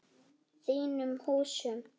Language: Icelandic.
Þínum húsum?